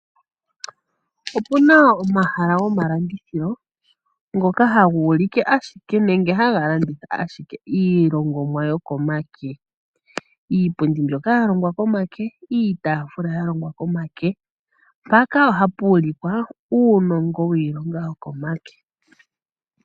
Opuna omahala gomalandithilo ngoka haga ulike ashike nenge haga landitha ashike iilongomwa yokomake, iipundi mbyoka yalongwa komake, iitafula yalongwa komake. Mpaka ohapu ulikwa uunongo wiilonga yokomake.